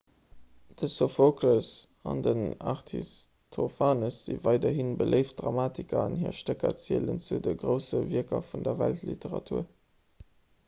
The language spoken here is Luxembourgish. de sophokles an den aristophanes si weiderhi beléift dramatiker an hir stécker zielen zu de grousse wierker vun der weltliteratur